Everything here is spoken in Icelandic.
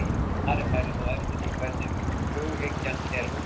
Svarið færi þó eftir því hvernig hughyggjan er útfærð.